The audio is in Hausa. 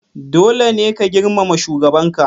Dole ne ka girmama shugabanka!